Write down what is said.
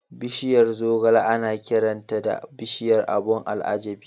Bishiyar zogale ana kiranta da "Bishiyar abun al'ajabi".